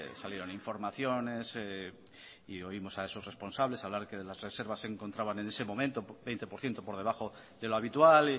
salieron informaciones y oímos a esos responsables a hablar que de las reservas se encontraban en ese momento en veinte por ciento por debajo de lo habitual